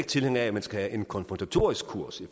tilhænger af at man skal have en konfrontatorisk kurs i